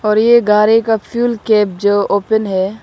और ये गाड़ी का फ्यूल कैप जो ओपेन है।